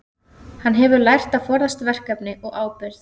Hann hefur lært að forðast verkefni og ábyrgð.